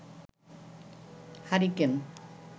hurricane